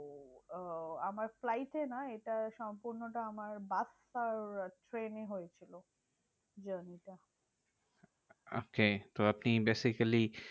আহ আমার flight এ নয় এটা সম্পূর্ণটা আমার বাস আর ট্রেনে হয়েছিল journey টা। okay তো আপনি basically